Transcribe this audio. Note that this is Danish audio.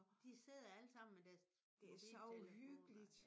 De sidder alle sammen med deres mobiltelefoner